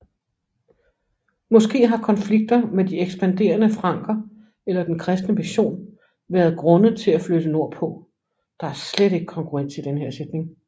Måske har konflikter med de ekspanderende franker eller den kristne mission været grunde til at flytte nordpå